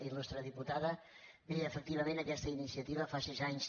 il·lustre diputada bé efectivament aquesta iniciativa fas sis anys